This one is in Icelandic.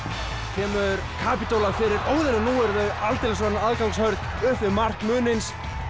kemur fyrir Óðinn og nú eru þau aldeilis orðin aðgangshörð upp við mark Munins